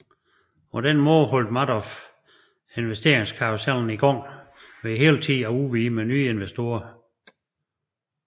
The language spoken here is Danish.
På den måde holdt Madoff investeringskarusellen i gang ved hele tiden at udvide med nye investorer